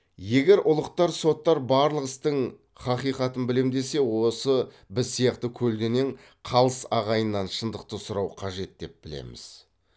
егер ұлықтар соттар барлық істің хақиқатын білем десе осы біз сияқты көлденең қалыс ағайыннан шындықты сұрау қажет деп білеміз